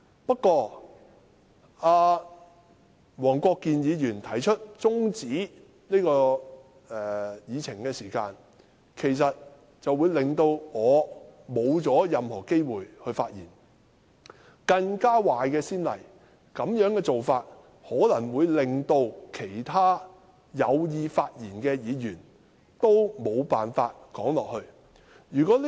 不過，黃國健議員提出中止待續議案，其實會令我失去發言的機會，這種做法可能會令其他有意發言的議員也無法發言。